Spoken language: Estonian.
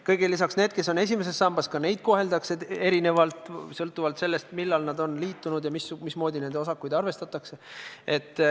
Kõigele lisaks koheldakse erinevalt ka neid, kes on ainult esimeses sambas, sõltuvalt sellest, millal nad on liitunud ja mismoodi nende osakuid arvestatakse.